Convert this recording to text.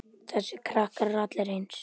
Þessir krakkar eru allir eins.